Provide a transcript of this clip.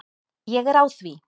Ég er á því.